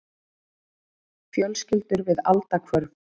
Fjölskyldur við aldahvörf.